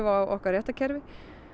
á okkar réttarkerfi